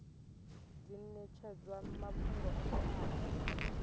dzi netshedzwa mafhungo o teaho